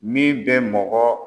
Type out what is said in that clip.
Min bɛ mɔgɔ